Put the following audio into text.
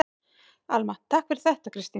Alma: Takk fyrir þetta Kristín.